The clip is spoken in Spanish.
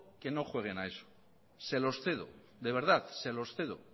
que no jueguen a eso se los cedo de verdad se los cedo